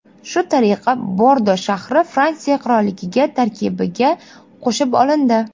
Shu tariqa Bordo shahri Fransiya qirolligi tarkibiga qo‘shib olindi.